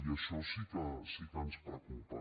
i això sí que ens preocupa